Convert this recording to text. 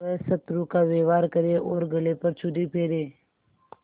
वह शत्रु का व्यवहार करे और गले पर छुरी फेरे